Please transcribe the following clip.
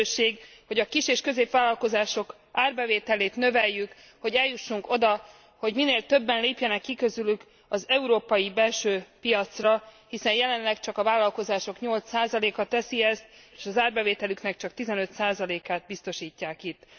Egy lehetőség, hogy a kis és középvállalkozások árbevételét növeljük, hogy eljussunk oda, hogy minél többen lépjenek ki közülük az európai belső piacra, hiszen jelenleg csak a vállalkozások 8 a teszi ezt, és az árbevételüknek csak a 15 át biztosítják itt.